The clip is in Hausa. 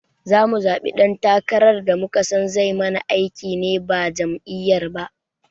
Zamu zaɓi dan takarar da muka son zai mana aiki ne ba jam'iyyar ba